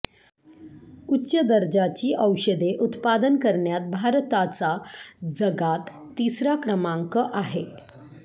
उच्च दर्जाची औषधे उत्पादन करण्यात भारताचा जगात तिसरा क्रमांक आहे